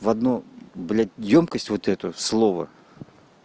в одну блядь ёмкость вот это слово